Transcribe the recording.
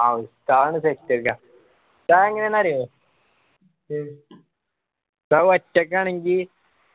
ആ ഉസ്താദ് set എന്നയ ഉസ്താദ് എങ്ങനെന്ന് അറിയോ ഉസ്താദ് പച്ചക്കാണെങ്കി